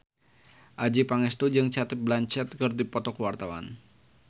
Adjie Pangestu jeung Cate Blanchett keur dipoto ku wartawan